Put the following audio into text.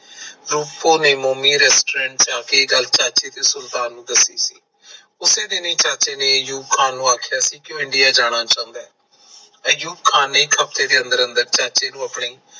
ਰੂਪੋ ਨੇ ਮੋਮੀ restaurant ਚ ਆ ਕੇ ਇਹ ਗੱਲ ਚਾਚੇ ਤੇ ਸੁਲਤਾਨ ਨੂੰ ਦੱਸੀ ਉਸੇ ਦਿਨ ਹੀ ਚਾਚੇ ਨੇ ਅਯੂਬ ਖਾਨ ਨੂੰ ਆਖਿਆ ਸੀ ਕਿ ਉਹ INDIA ਜਾਣਾ ਚਾਹੁੰਦਾ ਹੈ ਅਯੂਬ ਖਾਨ ਨੇ ਇੱਕ ਹਫਤੇ ਦੇ ਅੰਦਰ ਅੰਦਰ ਚਾਚੇ ਨੂੰ ਅਪਣੇ